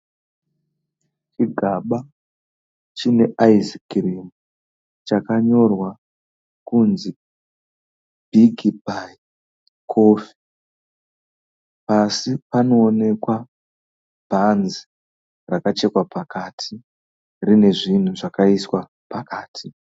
Chigaba chine ice cream chakanyorwa kunzi biggbye coffee pasi panoonekwa bhanzi rakachekwa pakati riine zvinhu zvakaiswa pakati.